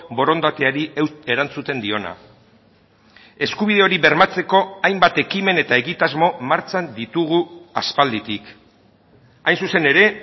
borondateari erantzuten diona eskubide hori bermatzeko hainbat ekimen eta egitasmo martxan ditugu aspalditik hain zuzen ere